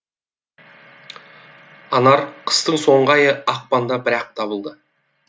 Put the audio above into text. анар қыстың соңғы айы ақпанда бірақ табылды